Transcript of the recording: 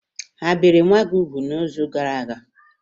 Ha biri nwa gị úgwù n'izu gara aga?